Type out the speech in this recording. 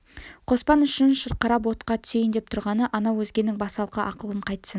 қоспан үшін шырқырап отқа түсейін деп тұрғаны анау өзгенің басалқы ақылын қайтсін